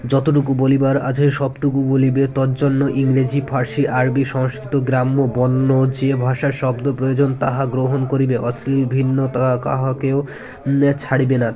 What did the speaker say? যতটুকু বলিবার আছে সবটুকু বলিবে তদজন্য ইংরাজী ফার্সি আরবি সংস্কৃত গ্রাম্য বন্য যে ভাষায় শব্দ প্রয়োজন তাহা গ্রহণ করিবে অশ্লীল ভিন্নতা কাহাকেও ছাড়িবেনা